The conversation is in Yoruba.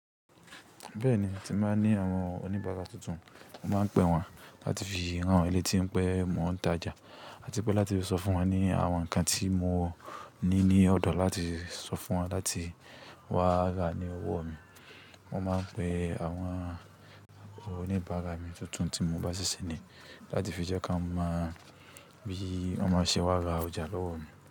Bẹ́ẹ̀ni, ti máa ń ní àwọn oníbara tuntun, mo máa ń pe wọ́n láti fi ran wọn lé tí n pé mo ta jà àti pé láti sọ fún wọn ní àwọn nǹkan tí mo ní ní ọ̀dọ̀ láti sọ fún wọn láti wá ra ní ọwọ́ mi. Mo máa ń pe àwọn oníbara mi tuntun tí mo bá ṣíṣe ni láti fi jẹ́ ká mọ bí wọ́n ṣe máa ra ọjà lọ́wọ́ mi.